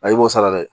i b'o sara dɛ